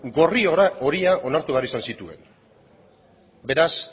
gorri horia onartu behar izan zituen beraz